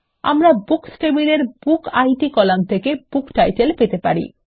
আমরা বুকস টেবিলের book id column থেকে বুকটাইটেল পেতে পারি